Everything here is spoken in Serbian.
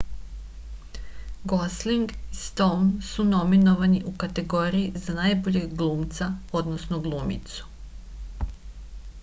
gosling i stoun su nominovani u kategoriji za najboljeg glumca odnosno glumicu